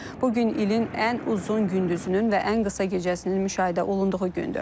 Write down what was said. Bu gün ilin ən uzun gündüzünün və ən qısa gecəsinin müşahidə olunduğu gündür.